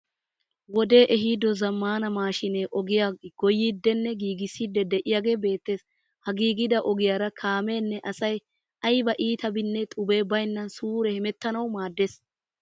Wodee ehiido zaammaana maashinee ogiya goyiiddinne giigissiiddi de'iyagee beettees. Ha giigida ogiyaara kaameenne asay ayiba iitabinne xubee bayinnan suure hemettanawu maaddees.